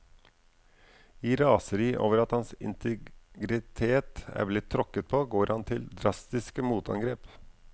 I raseri over at hans integritet er blitt tråkket på, går han til drastiske motangrep.